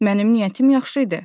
Mənim niyyətim yaxşı idi.